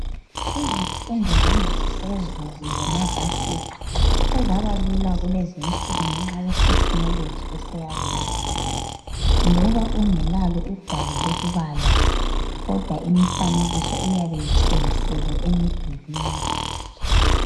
Izifundo zangaphezulu zema Vasithi sezaba lula kulezi insuku ngenxa ye thekhinoloji eseyabuyayo loba ungelalo ugwalo lokubala kodwa imifanekiso iyabe itshengiselwe emdulwini.